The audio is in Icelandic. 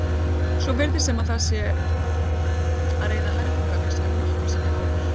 Svo virðist sem það sé að reiða hærra til höggs en nokkru sinni áður.